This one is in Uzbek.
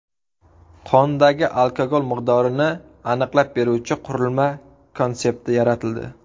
Qondagi alkogol miqdorini aniqlab beruvchi qurilma konsepti yaratildi.